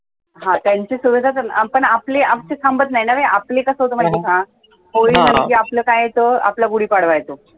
हा त्यांचे सुरु होतात पण आपले थांबत नाही ना. आपलं कसं होतं माहितीये का होळी झाली कि आपलं काय येतं? आपला गुढीपाडवा येतो